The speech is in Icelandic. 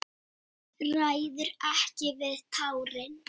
Ræður ekki við tárin.